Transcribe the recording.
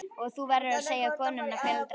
Og þú verður að segja konunni að fela draslið.